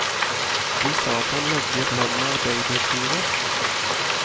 De sa at han levde i et land med arbeiderstyre.